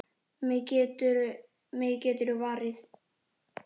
Mig geturðu varið.